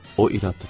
O irad tutdu.